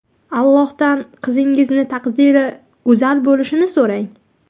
Allohdan qizingizning taqdiri go‘zal bo‘lishini so‘rang.